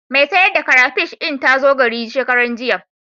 Mai sayar da karafish ɗin ta zo gari shekaranjiya.